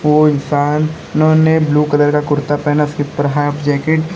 और इंसानों ने ब्लू कलर का कुर्ता पहना है और उसके ऊपर में हाफ जैकेट --